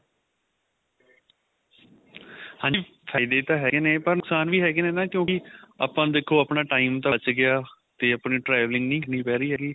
ਹਾਂਜੀ ਫਾਇਦੇ ਤਾਂ ਹੈਗੇ ਨੇ ਪਰ ਨੁਕਸਾਨ ਵੀ ਹੈਗੇ ਨੇ ਨਾ ਕਿਉਂਕਿ ਆਪਾਂ ਨੂੰ ਦੇਖੋ ਆਪਣਾ time ਬੱਚ ਗਿਆ ਤੇ ਆਪਣੀ traveling ਨਹੀਂ ਕਰਨੀ ਪੈ ਰਹੀ ਹੈਗੀ